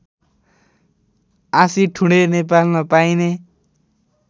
आँसीठुँडे नेपालमा पाइने